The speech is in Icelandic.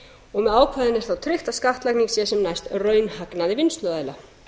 og með ákvæðinu er þá tryggt að skattlagning sé sem næst raunhagnaði vinnsluaðila